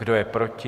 Kdo je proti?